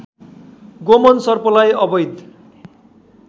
गोमन सर्पलाई अवैध